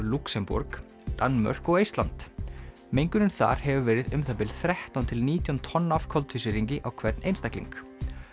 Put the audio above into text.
Lúxemborg Danmörk og Eistland mengunin þar hefur verið um það bil þrettán til nítján tonn af koltvísýringi á hvern einstakling